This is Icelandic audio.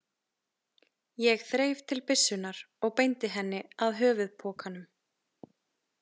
Ég þreif til byssunnar og beindi henni að höfuðpokanum.